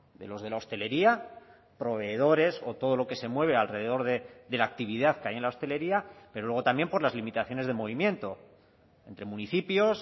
de los de la hostelería proveedores o todo lo que se mueve alrededor de la actividad que hay en la hostelería pero luego también por las limitaciones de movimiento entre municipios